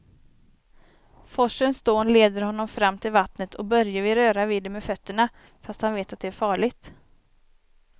Forsens dån leder honom fram till vattnet och Börje vill röra vid det med fötterna, fast han vet att det är farligt.